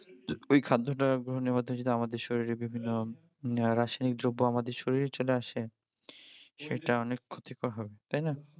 ওই খাদ্যটা গ্রহণের মাধ্যমে যদি আমাদের শরীরে বিভিন্ন রাসায়নিক দ্রব্য আমাদের শরীরে চলে আসে সেটা অনেক ক্ষতিকর হবে তাই না?